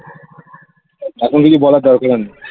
এখন কিছু বলার দরকারও নেই